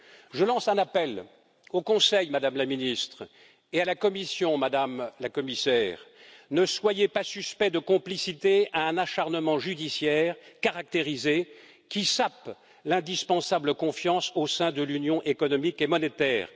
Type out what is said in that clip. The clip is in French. Je lance un appel au Conseil, Madame la Ministre, et à la Commission, Madame la Commissaire, ne soyez pas suspects de complicité d'un acharnement judiciaire caractérisé qui sape l'indispensable confiance au sein de l'Union économique et monétaire.